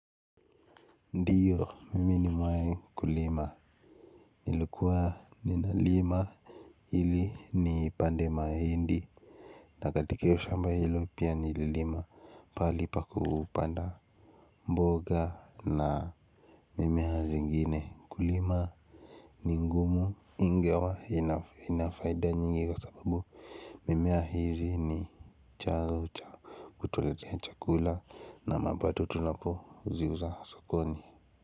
Ndiyo mimi nimewahi kulima nilikuwa nina lima ili ni pande mahindi na katika hio shamba hilo pia nililima pahali pa kupanda mboga na mimea zingine kulima ni ngumu ingawa ina faida nyingi kwasababu mimea hizi ni cha huutuletea chakula na mapato tunapo ziuza sokoni.